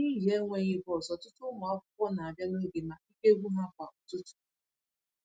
N'ihi enweghị bọs, ọtụtụ ụmụ akwụkwọ na-abịa n'oge ma ike gwụ ha kwa ụtụtụ.